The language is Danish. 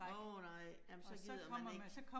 Nåh nej, jamen så gider man ikke